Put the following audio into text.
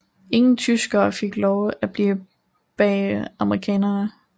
Ingen tyskere fik lov at blive bag amerikanerne